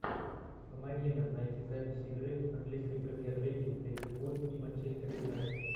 помоги нам найти запись игры английской премьер лиги ливерпуль и манчестер юнайтед